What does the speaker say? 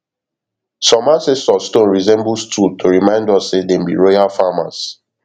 some ancestor stone resemble stool to remind us say dem be royal farmers